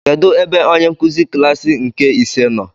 Kedụ ebe onyenkụzi klaasị nke ise nọ?